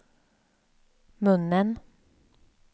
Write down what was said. munnen